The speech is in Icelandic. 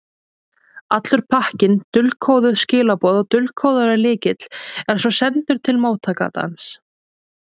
Allur pakkinn, dulkóðuð skilaboð og dulkóðaður lykill, er svo sendur til móttakandans.